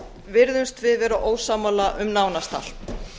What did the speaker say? virðumst við vera ósammála um nánast allt